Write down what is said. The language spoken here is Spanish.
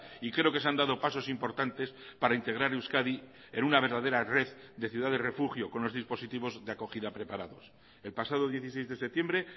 y creo que se han dado pasos importantes para integrar euskadi en una verdadera red de ciudad de refugio con los dispositivos de acogida preparados el pasado dieciséis de septiembre